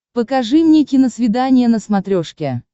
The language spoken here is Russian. покажи мне киносвидание на смотрешке